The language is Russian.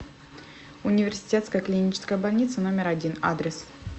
университетская клиническая больница номер один адрес